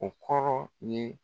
O kɔrɔ ye